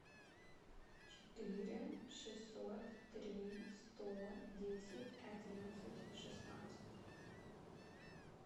четыре шестьсот три сто десять одиннадцать шестнадцать